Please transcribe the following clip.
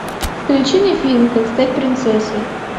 включи мне фильм как стать принцессой